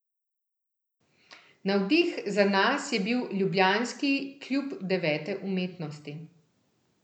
Navdih za nas je bil ljubljanski Klub devete umetnosti.